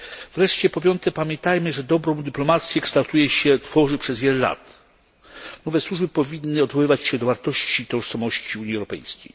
Wreszcie po piąte, pamiętajmy, że dobrą dyplomację kształtuje się przez wiele lat. Owe służby powinny odwoływać się do wartości i tożsamości Unii Europejskiej.